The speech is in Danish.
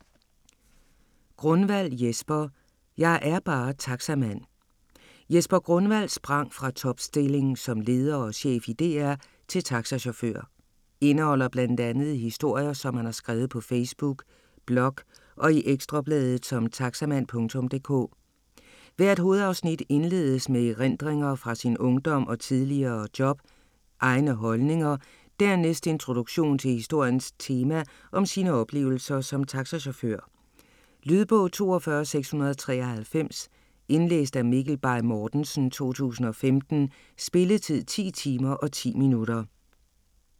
Grunwald, Jesper: Jeg er bare taxamand Jesper Grunwald sprang fra topstilling som leder og chef i DR til taxachauffør. Indeholder bl.a. historier, som han har skrevet på Facebook, blog og i Ekstrabladet som Taxamand.dk. Hvert hovedafsnit indledes med erindringer fra sin ungdom, tidligere job og egne holdninger, dernæst introduktion til historiens tema om sine oplevelser som taxachauffør. Lydbog 42693 Indlæst af Mikkel Bay Mortensen, 2015. Spilletid: 10 timer, 10 minutter.